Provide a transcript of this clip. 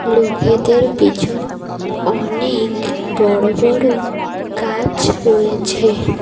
লোকেদের পিছন অনেক বড় বড় গাছ রয়েছে।